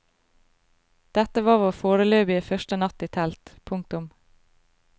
Dette var vår foreløpige første natt i telt. punktum